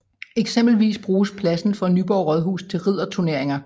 Eksempelvis bruges pladsen for Nyborg Rådhus til ridderturneringer